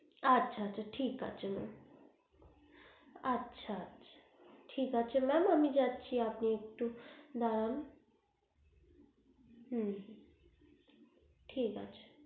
আচ্ছা আচ্ছা ঠিক আছে mam আচ্ছা আচ্ছা ঠিক আছে man আমি যাচ্ছি আপনি একটু দাড়ান হু ঠিক আছে